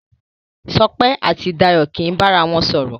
Sope àti Dayo kí bá àrà wọn sòrò.